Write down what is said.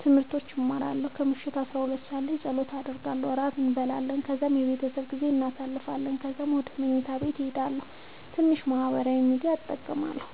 ትምህርቶች እማራለሁ። ከምሽቱ 12 ሰዓት ላይ ፀሎት አደርጋለሁ። ራት እንበላለን ከዛ የቤተሰብ ጊዜ እናሳልፋለን። ከዛ ወደ መኝታ ሄዳለሁ። ትንሽ ማህበራዊ ሚድያ እጠቀማለሁ።